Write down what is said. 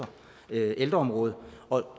ældreområdet og